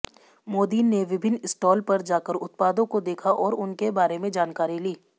मोदी ने विभिन्न स्टॉल पर जाकर उत्पादों को देखा और उनके बारे में जानकारी ली